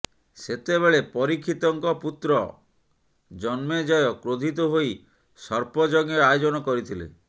ସେତେବେଳେ ପରୀକ୍ଷିତଙ୍କ ପୁତ୍ର ଜନ୍ମେଜୟ କ୍ରୋଧିତ ହୋଇ ସର୍ପଯଜ୍ଞ ଆୟୋଜନ କରିଥିଲେ